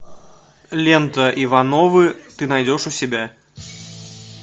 лента ивановы ты найдешь у себя